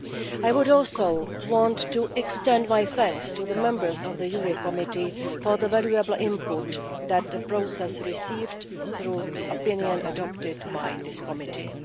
I would also want to extend my thanks to the Members of the Committee on Legal Affairs for the valuable input that the process received through the opinion adopted by this Committee.